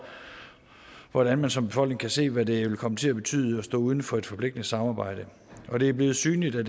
hvordan man som befolkning kan se hvad det vil komme til at betyde at stå uden for et forpligtende samarbejde og det er blevet synligt at